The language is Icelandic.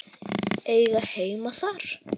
Eiga heima þar.